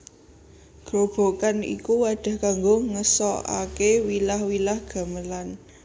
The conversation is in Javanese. Grobogan iku wadah kanggo ngeso ake wilah wilah gamelan